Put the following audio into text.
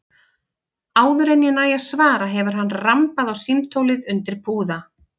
Áður en ég næ að svara hefur hann rambað á símtólið undir púða.